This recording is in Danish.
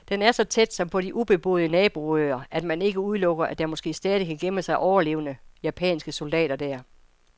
Den er så tæt, som på de ubeboede naboøer, at man ikke udelukker, at der måske stadig kan gemme sig overlevende japanske soldater der.